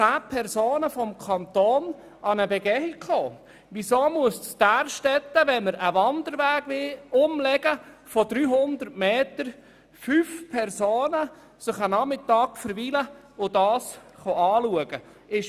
Weshalb müssen fünf Personen einen Nachmittag damit verwenden, sich das Ganze anzuschauen, wenn man in Därstetten einen Wanderweg um 300 Meter verlegen will?